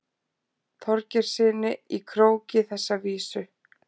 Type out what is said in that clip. Þorgeirssyni í Króki þessa vísu.